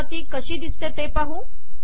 आता ती कशी दिसते ते पाहू